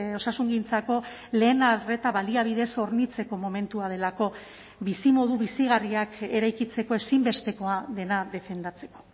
osasungintzako lehen arreta baliabidez hornitzeko momentua delako bizimodu bizigarriak eraikitzeko ezinbestekoa dena defendatzeko